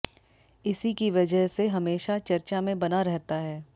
इसी की वजह से हमेशा चर्चा में बना रहता है